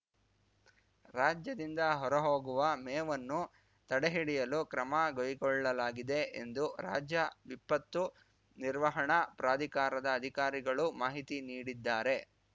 ರಾಜ್ಯದಿಂದ ಹೊರಹೋಗುವ ಮೇವನ್ನು ತಡೆಹಿಡಿಯಲು ಕ್ರಮ ಕೈಗೊಳ್ಳಲಾಗಿದೆ ಎಂದು ರಾಜ್ಯ ವಿಪತ್ತು ನಿರ್ವಹಣಾ ಪ್ರಾಧಿಕಾರದ ಅಧಿಕಾರಿಗಳು ಮಾಹಿತಿ ನೀಡಿದ್ದಾರೆ